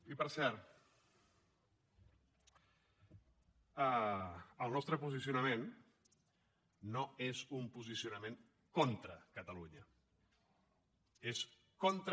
i per cert el nostre posicionament no és un posicionament contra catalunya és contra